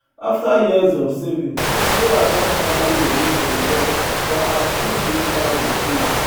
after years of saving sarah don finally ready to invest for her dream beachside retreat